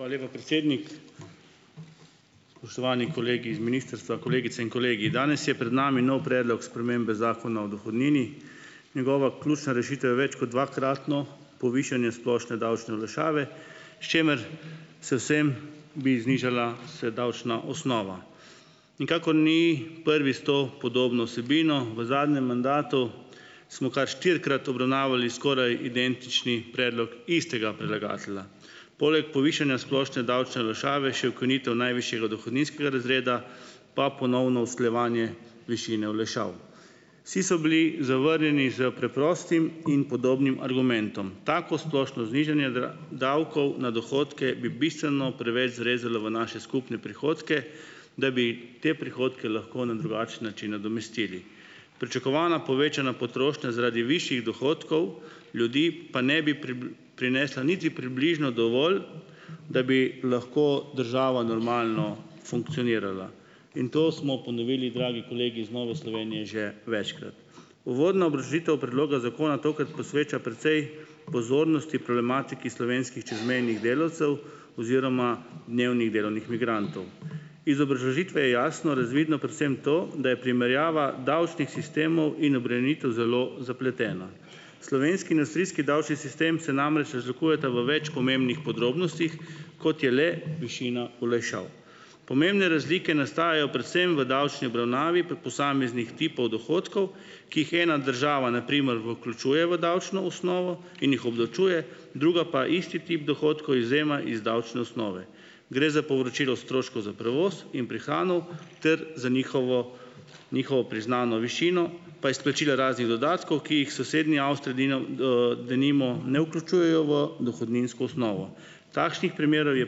Hvala lepa, predsednik. Spoštovani kolegi iz ministrstva, kolegice in kolegi! Danes je pred nami nov predlog spremembe Zakona o dohodnini. Njegova ključna rešitev je več kot dvakratno povišanje splošne davčne olajšave, s čimer se vsem bi znižala se davčna osnova. Nikakor ni prvi s to podobno vsebino. V zadnjem mandatu smo kar štirikrat obravnavali skoraj identični predlog istega predlagatelja. Poleg povišanja splošne davčne olajšave še ukinitev najvišjega dohodninskega razreda, pa ponovno usklajevanje višine olajšav. Vsi so bili zavrnjeni s preprostim in podobnim argumentom. Tako splošno znižanje davkov na dohodke bi bistveno preveč zarezalo v naše skupne prihodke, da bi te prihodke lahko na drugačen način nadomestili. Pričakovana povečana potrošnja zaradi višjih dohodkov ljudi pa ne bi prinesla niti približno dovolj, da bi lahko država normalno funkcionirala. In to smo ponovili, dragi kolegi iz Nove Slovenije, že večkrat. Uvodna obrazložitev predloga zakona tokrat posveča precej pozornosti problematiki slovenskih čezmejnih delavcev oziroma dnevnih delovnih migrantov. Iz obrazložitve je jasno razvidno predvsem to, da je primerjava davčnih sistemov in obremenitev zelo zapletena. Slovenski in avstrijski davčni sistem se namreč razlikujeta v več pomembnih podrobnostih, kot je le višina olajšav. Pomembne razlike nastajajo predvsem v davčni obravnavi pri posameznih tipih dohodkov, ki jih ena država na primer vključuje v davčno osnovo in jih obdavčuje, druga pa isti tip dohodkov izvzema iz davčne osnove. Gre za povračilo stroškov za prevoz in prehrano ter za njihovo njihovo priznano višino, pa izplačila raznih dodatkov, ki jih sosednji Avstriji dino, denimo ne vključujejo v dohodninsko osnovo. Takšnih primerov je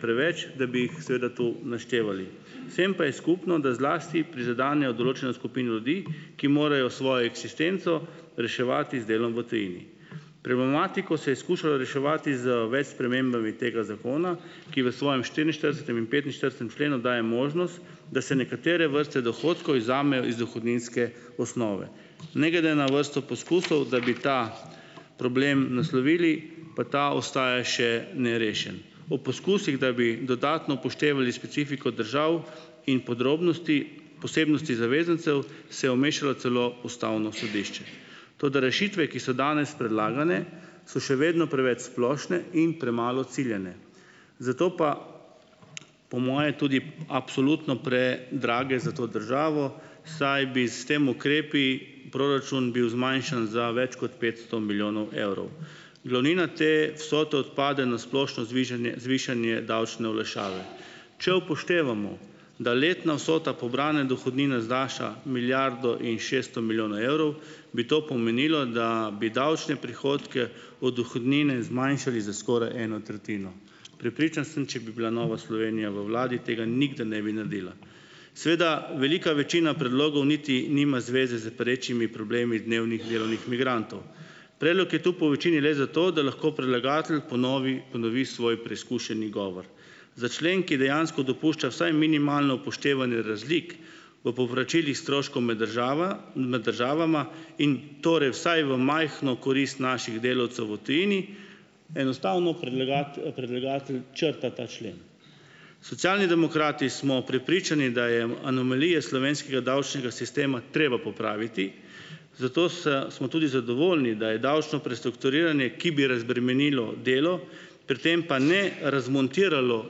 preveč, da bi jih, seveda, tu naštevali. Vsem pa je skupno, da zlasti prizadenejo določeno skupino ljudi, ki morajo svojo eksistenco reševati z delom v tujini. Problematiko se je skušalo reševati z več spremembami tega zakona, ki v svojem štiriinštiridesetem in petinštiridesetem členu daje možnost, da se nekatere vrste dohodkov izvzamejo iz dohodninske osnove. Ne glede na vrsto poskusov, da bi ta problem naslovili, pa ta ostaja še nerešen. O poskusih, da bi dodatno upoštevali specifiko držav in podrobnosti, posebnosti zavezancev, se je umešalo celo ustavno sodišče. Toda rešitve, ki so danes predlagane, so še vedno preveč splošne in premalo ciljane. Zato pa, po moje, tudi absolutno predrage za to državo, saj bi s temi ukrepi proračun bil zmanjšan za več kot petsto milijonov evrov. Glavnina te vsote odpade na splošno zvižanje zvišanje davčne olajšave. Če upoštevamo, da letna vsota pobrane dohodnine znaša milijardo in šeststo milijonov evrov, bi to pomenilo, da bi davčne prihodke od dohodnine zmanjšali za skoraj eno tretjino. Prepričan sem, če bi bila Nova Slovenija v vladi tega nikdar ne bi naredila. Seveda velika večina predlogov niti nima zveze s perečimi problemi dnevnih delovnih migrantov . Predlog je tu po večini le zato, da lahko predlagatelj ponovi, ponovi svoj preizkušeni govor. Za člen, ki dejansko dopušča vsaj minimalno upoštevanje razlik v povračilih stroškov med med državama in torej vsaj v majhno korist naših delavcev v tujini, enostavno predlagati, predlagatelj črta ta člen. Socialni demokrati smo prepričani, da je anomalije slovenskega davčnega sistema treba popraviti, zato se smo tudi zadovoljni, da je davčno prestrukturiranje, ki bi razbremenilo delo, pri tem pa ne razmontiralo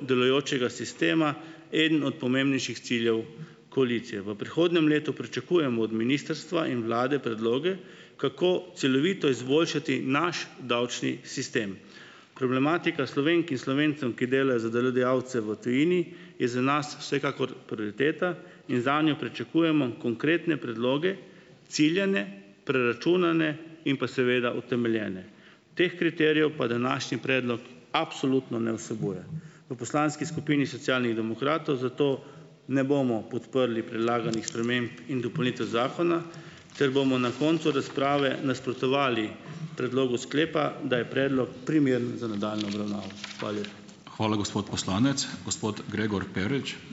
delujočega sistema, eden od pomembnejših ciljev koalicije. V prihodnjem letu pričakujemo od ministrstva in vlade predloge, kako celovito izboljšati naš davčni sistem. Problematika Slovenk in Slovencem, ki delajo za delodajalce v tujini, je za nas vsekakor prioriteta in zanjo pričakujemo konkretne predloge, ciljane, preračunane in pa seveda utemeljene. Teh kriterijev pa današnji predlog absolutno ne vsebuje. V poslanski skupini Socialnih demokratov zato ne bomo podprli predlaganih sprememb in dopolnitev zakona ter bomo na koncu razprave nasprotovali predlogu sklepa, da je predlog primeren za nadaljnjo obravnavo. Hvala lepa.